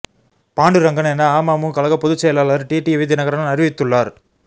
பாண்டுரங்கன் என அமமு கழக பொதுச் செயலாளர் டிடிவி தினகரன் அறிவித்துள்ளார்